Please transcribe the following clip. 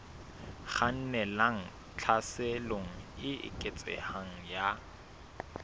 kgannelang tlhaselong e eketsehang ya